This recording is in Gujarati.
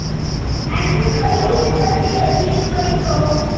આટલું થઇ ગયું કે પછી હજુ કાઈક કઉ